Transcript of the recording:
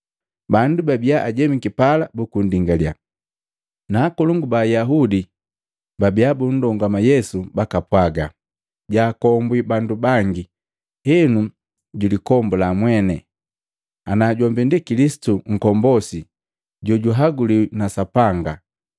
Bandu babia ajemiki pala buku ndingalya, na akakolongu ba Ayaudi babia bundongama Yesu bakapwaga, “Jaakombwi bandu bangi, henu julikombula mweni, ana jombi ndi Kilisitu Nkombosi jojuhaguliwi na Sapanga!”